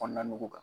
Kɔnɔna nugu kan